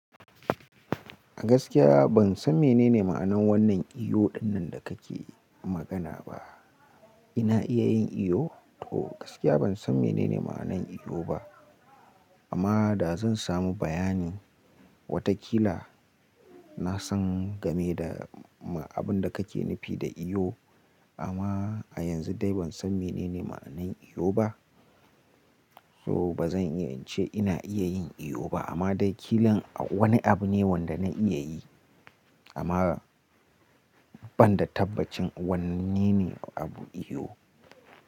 Gaskiya ban san menene ma'anar wannan iwo dinnan da kake magana ba. Ina iya yin iwo? To gaskiya ban san menene ma'anan iwo ba. Amma da zan samu bayani, watakila na san game da abin da kake nufi da iwo. Amma a yanzu dai ban san menene ma'anar iwo ba. To ba zan iya ce ina iya yin iwo ba, amma dai kilin wani abu ne wanda na iya yi. Amma ban da tabbacin wanne ne abu iwo.